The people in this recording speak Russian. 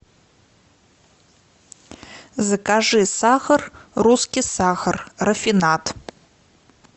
закажи сахар русский сахар рафинад